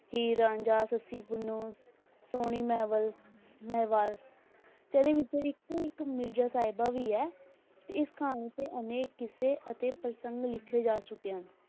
ਹੀਰ ਰਾਂਝਾ, ਸੱਸੀ ਪੁੰਨੁੰ, ਸੋਹਣੀ ਮਹੀਵਾਲ ਮਹੀਵਾਲ, ਤੇ ਇਹਦੇ ਵਿੱਚੋਂ ਇੱਕ ਇੱਕ ਮਿਰਜ਼ਾ ਸਾਹਿਬਾਂ ਵੀ ਹੈ, ਤੇ ਇਸ ਕਹਾਣੀ ਤੇ ਅਨੇਕ ਕਿੱਸੇ ਅਤੇ ਪ੍ਰਸੰਗ ਲਿਖੇ ਜਾ ਚੁੱਕੇ ਹਨ,